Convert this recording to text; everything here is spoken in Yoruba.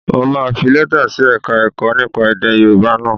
Mo máa fi lẹ́tà sí Ẹ̀ka-ẹ̀kọ́ nípa èdè Yorùbá náà